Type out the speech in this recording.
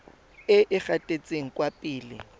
e e gatetseng kwa pele